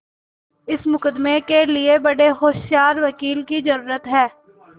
इस मुकदमें के लिए बड़े होशियार वकील की जरुरत है